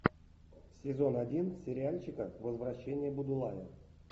сезон один сериальчика возвращение будулая